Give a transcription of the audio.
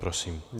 Prosím.